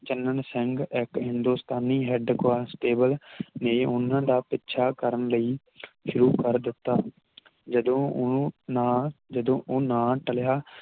ਚੰਨਣ ਸਿੰਘ ਇਕ ਹਿੰਦੁਸਤਾਨੀ head constable ਨੇ ਉਹਨਾਂ ਦਾ ਪਿੱਛਾ ਕਰਨ ਲਈ ਸ਼ੁਰੂ ਕਰ ਦਿੱਤਾ ਜਦੋਂ ਓਹ ਨਾ ਜਦੋਂ ਉਹ ਨਾ ਟਲਿਆ